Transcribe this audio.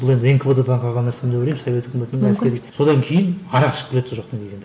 бұл енді нквд дағы қалған нәрсе деп ойлаймын совет өкіметінің содан кейін арақ ішіп келеді сол жақтан келгенде